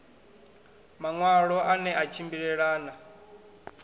maṋwalo a ne a tshimbilelana